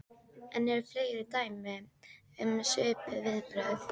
En eru fleiri dæmi um svipuð viðbrögð?